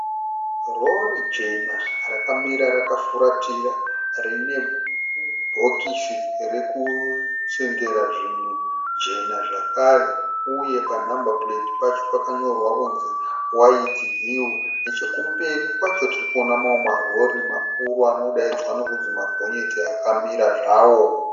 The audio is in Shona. Rori jena rakamira rakafuratira rine bhokisi rekusengera rekusengera zvinhu jena zvakare uye paNumber Plate pacho pakanyorwa kunzi "White Hill". Nechekumberi kwacho tirikuona mamwe marori makuru anodaidzwa nekuti magonyeti akamira zvawo.